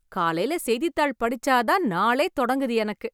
காலைல செய்தித் தாள் படிச்சா தான் நாளே தொடங்குது எனக்கு.